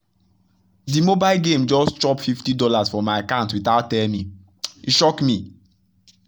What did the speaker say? that mobile game just chop fifty dollarsfrom my account without tell me — e shock me!